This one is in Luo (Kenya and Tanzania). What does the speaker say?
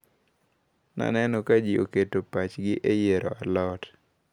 Naneno ka ji oketo pachgi e yiero a lot.